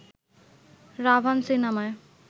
'রাভান' সিনেমায়